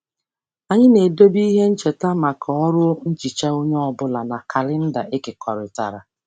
Anyị na-edobe ihe ncheta maka ọrụ nhicha onye ọ bụla na kalenda ekekọrịtara.